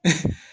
Unhun